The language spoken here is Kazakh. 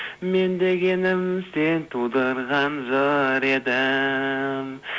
мен дегенім сен тудырған жыр едің